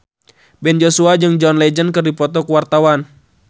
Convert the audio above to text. Ben Joshua jeung John Legend keur dipoto ku wartawan